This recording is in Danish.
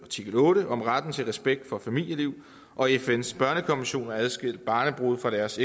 artikel otte om retten til respekt for familieliv og fns børnekonvention at adskille barnebrude fra deres